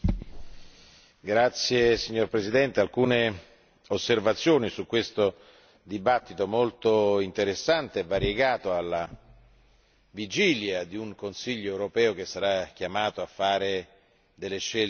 Signora Presidente, alcune osservazioni sulla discussione molto interessante e variegata alla vigilia di un Consiglio europeo che sarà chiamato a fare delle scelte importanti.